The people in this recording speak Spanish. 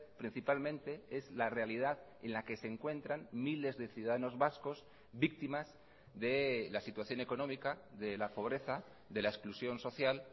principalmente es la realidad en la que se encuentran miles de ciudadanos vascos víctimas de la situación económica de la pobreza de la exclusión social